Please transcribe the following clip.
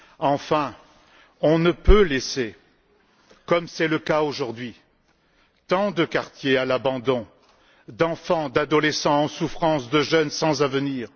Enfin, on ne peut laisser, comme c'est le cas aujourd'hui, tant de quartiers à l'abandon, d'enfants, d'adolescents en souffrance, de jeunes sans avenir.